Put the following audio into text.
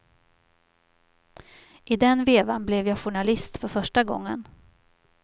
I den vevan blev jag journalist för första gången.